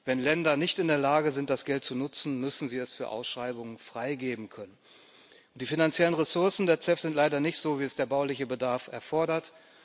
Wenn Länder nicht in der Lage sind, das Geld zu nutzen, müssen sie es für Ausschreibungen freigeben können. Die finanziellen Ressourcen der CEF sind leider nicht so, wie es der bauliche Bedarf erfordert.